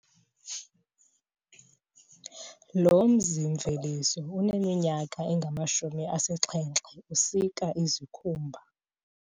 Lo mzimveliso uneminyaka engamshumi asixhenxe usuka izikhumba.